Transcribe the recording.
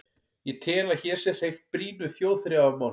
Ég tel, að hér sé hreyft brýnu þjóðþrifamáli.